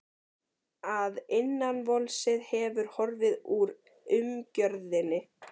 Að innvolsið hefði horfið úr umgjörðinni.